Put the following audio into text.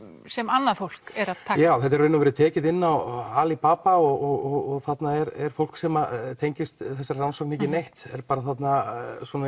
sem annað fólk er að taka já þetta er í raun og veru tekið inn á ali Baba og þarna er fólk sem tengist þessari rannsókn ekki neitt er bara þarna